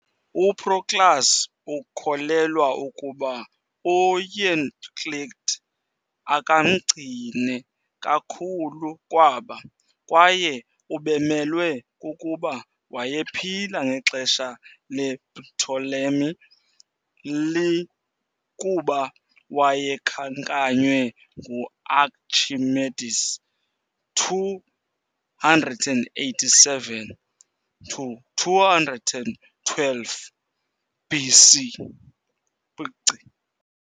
UProclus ukholelwa ukuba uEuclid akamncine kakhulu kwaba, kwaye ubemelwe kukuba wayephila ngexesha lePtolemy I kuba wayekhankanywe nguArchimedes, 287 to 212 BC.